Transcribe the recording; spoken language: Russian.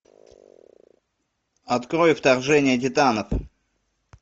открой вторжение титанов